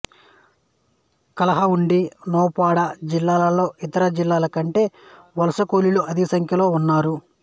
కలాహండి నౌపడ జిల్లాలలో ఇతర జిల్లాల కంటే వలస కూలీలు అధికసంఖ్యలో ఉన్నారు